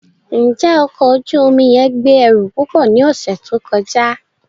Njẹ ọkọ oju omi yẹn gbe ẹru pupọ ni ọsẹ to kọja?